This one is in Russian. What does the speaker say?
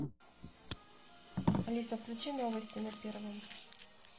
алиса включи новости на первом